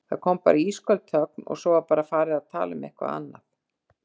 Það kom bara ísköld þögn og svo var bara farið að tala um eitthvað annað.